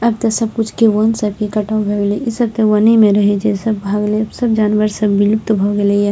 आब ते सब कुछ के वन सब के कटाव भै गैले इ सब ते वने में रहे छै सब भाग ले अब सब जानवर सब विलुप्त भ गेले ये।